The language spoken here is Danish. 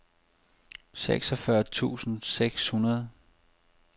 seksogfyrre tusind seks hundrede